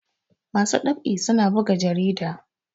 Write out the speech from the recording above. masu ɗab'i suna buga jarida